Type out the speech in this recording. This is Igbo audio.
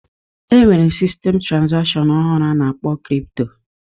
E nwere sistem trazakshọn ọhụrụ a na-akpọ kripto